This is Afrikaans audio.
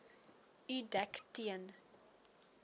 u dek teen